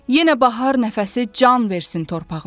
Yenə bahar nəfəsi can versin torpağıma.